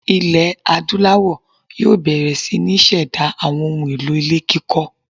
Ilẹ̀ Adúláwọ̀ yóò bẹ̀rẹ̀ sí ní ṣẹ̀dá àwọn ohun-èlò ilé kíkọ́.